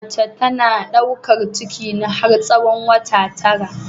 Mace tana ɗaukar ciki ne har tsahon wata tara.